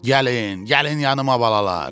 Gəlin, gəlin yanııma, balalar!